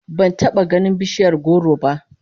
Ban taba ganin bishiyar goro ba